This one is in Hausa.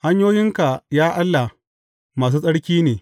Hanyoyinka, ya Allah, masu tsarki ne.